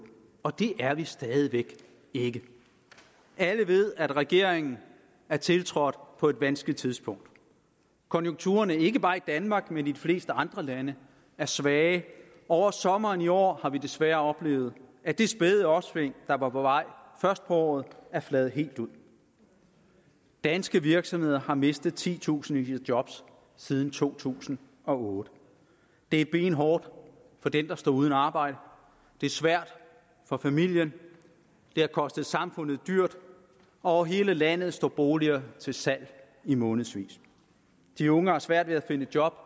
og det er vi stadig væk ikke alle ved at regeringen er tiltrådt på et vanskeligt tidspunkt konjunkturerne ikke bare i danmark men i de fleste andre lande er svage over sommeren i år har vi desværre oplevet at det spæde opsving der var på vej først på året er fladet helt ud danske virksomheder har mistet i titusindvis af job siden to tusind og otte det er benhårdt for den der står uden arbejde det er svært for familien det har kostet samfundet dyrt og over hele landet står boliger til salg i månedsvis de unge har svært ved at finde job